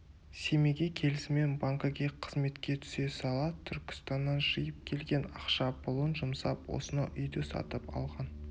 семейге келісімен банкіге қызметке түсе сала түркістаннан жиып келген ақша-пұлын жұмсап осынау үйді сатып алған